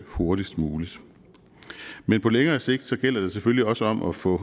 hurtigst muligt men på længere sigt gælder det jo selvfølgelig også om at få